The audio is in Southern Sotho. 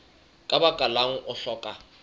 ka baka lang o hlokang